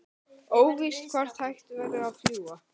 Óvíst hvort hægt verður að fljúga